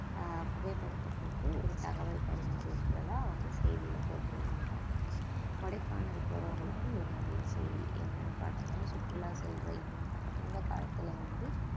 ஆஹ் புகைப்படத்தை போட்டு ஒரு தகவல் பரிமாறி இருக்கிறதா வந்து செய்தியில போட்டிருந்தாங்க கொடைக்கானல் போறவங்களுக்கு ஒரு நல்ல செய்தி என்னன்னு பார்த்தோம்ன்னா சுற்றுலா சென்ற இந்~ இந்த காலத்துல வந்து